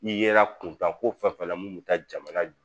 I yera kunkanko fɛn fɛn na mun bɛ taa jamana